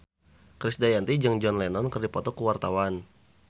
Krisdayanti jeung John Lennon keur dipoto ku wartawan